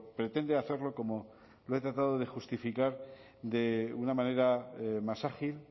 pretende hacerlo como lo he tratado de justificar de una manera más ágil